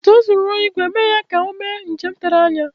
Etu e si rụọ ìgwè, emeghị ya ka o mee njem tere anya